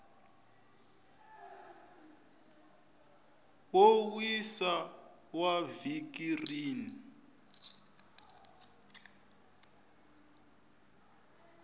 wo wisa wa vhiki rin